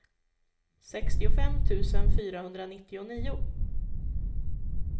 sextiofem tusen fyrahundranittionio